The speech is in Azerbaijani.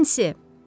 Nensi!